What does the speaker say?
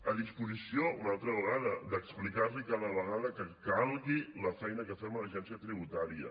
a disposició una altra vegada d’explicar li cada vegada que calgui la feina que fem a l’agència tributària